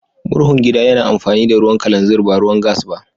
Murhun gida ya na amfani da ruwan kalanzir ba ruwan gas ba.